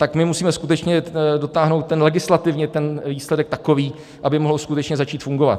Tak my musíme skutečně dotáhnout legislativně ten výsledek takový, aby mohl skutečně začít fungovat.